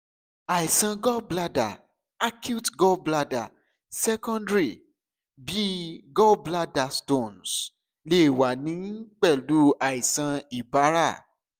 àìsàn gallbladder acute gallbladder secondary bi gallbladder stones lè wà ní pẹ̀lú àìsàn ibàrá